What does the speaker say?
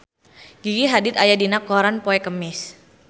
Gigi Hadid aya dina koran poe Kemis